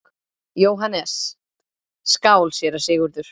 JÓHANNES: Skál, séra Sigurður!